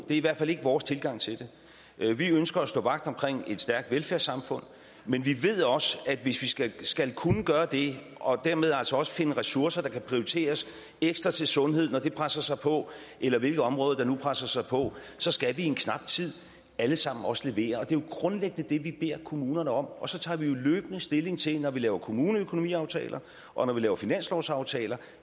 i hvert fald ikke vores tilgang til det vi ønsker at stå vagt om et stærkt velfærdssamfund men vi ved også at hvis vi skal skal kunne gøre det og dermed også også finde ressourcer der kan prioriteres ekstra til sundhed når det presser sig på eller hvilke områder der nu presser sig på så skal vi i en knap tid alle sammen også levere og det er jo grundlæggende det vi beder kommunerne om og så tager vi løbende stilling til når vi laver kommuneøkonomiaftaler og når vi laver finanslovsaftaler